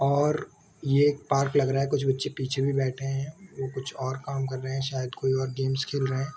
और ये एक पार्क लग रहा है कुछ बच्चे पीछे भी बैठे है वो कुछ और काम कर रहे है शायद कोई और गेम्स खेल रहे है।